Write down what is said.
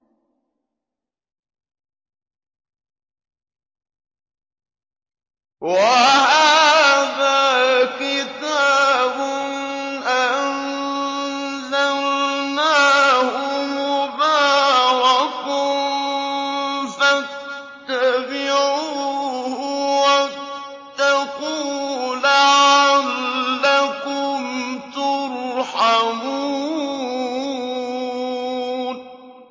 وَهَٰذَا كِتَابٌ أَنزَلْنَاهُ مُبَارَكٌ فَاتَّبِعُوهُ وَاتَّقُوا لَعَلَّكُمْ تُرْحَمُونَ